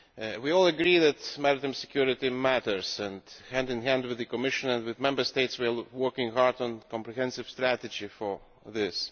We all agree that maritime security matters, and hand in hand with the Commission and Member States we are working hard on a comprehensive strategy for this.